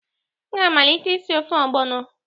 M ga-amalite isi ofe ogbono